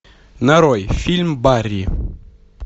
нарой фильм барри